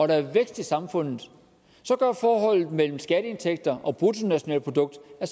der er vækst i samfundet gør forholdet mellem skatteindtægter og bruttonationalprodukt at